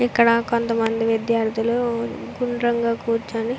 ఇక్కడ కొంతమంది విద్యార్థులు గుండ్రంగా కూర్చుని --